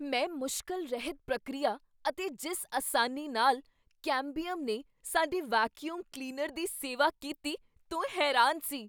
ਮੈਂ ਮੁਸ਼ਕਲ ਰਹਿਤ ਪ੍ਰਕਿਰਿਆ ਅਤੇ ਜਿਸ ਆਸਾਨੀ ਨਾਲ ਕੈਮਬੀਅਮ ਨੇ ਸਾਡੇ ਵੈਕੀਊਮ ਕਲੀਨਰ ਦੀ ਸੇਵਾ ਕੀਤੀ, ਤੋਂ ਹੈਰਾਨ ਸੀ।